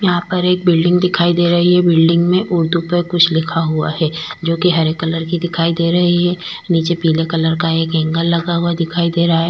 यहां पर एक बिल्डिंग दिखाई दे रही है बिल्डिंग में ओदू पर कुछ लिखा हुआ है जो कि हरे कलर की दिखाई दे रही है नीचे पीले कलर का एक एंगल लगा हुआ दिखाई दे रहा है।